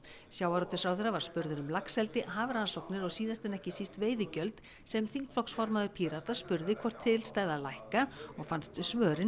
sjávarútvegsráðherra var spurður um laxeldi hafrannsóknir og síðast en ekki síst veiðigjöld sem þingflokksformaður Pírata spurði hvort til stæði að lækka og fannst svörin